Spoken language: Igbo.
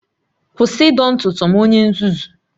Kwụsị ịdọ ntutu m onye nzuzu!